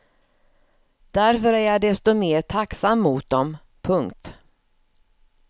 Därför är jag desto mer tacksam mot dem. punkt